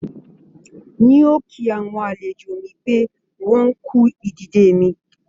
N ò kí àwọn àlejò mi pé wọ́n kú ìdìde mi